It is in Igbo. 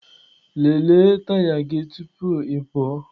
Lelee taya gị tupu ị pụọ!